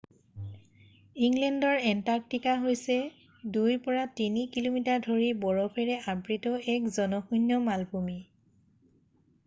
inland Antarctica হৈছে 2-3 কি:মি: ধৰি বৰফৰে আবৃত্ত এক জনশূণ্য মালভূমি৷